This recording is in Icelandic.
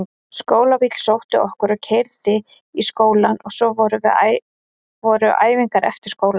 Skólabíll sótti okkur og keyrði í skólann og svo voru æfingar eftir skóla.